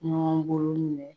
Ɲɔgɔn bolo minɛ